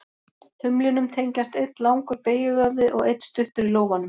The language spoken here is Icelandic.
Þumlinum tengjast einn langur beygjuvöðvi og einn stuttur í lófanum.